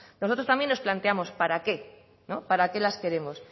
nosotros también nos plantemos para qué para qué las queremos